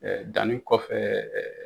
danni kɔfɛ